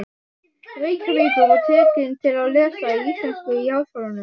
Reykjavíkur og tekin til við að lesa íslensku í Háskólanum.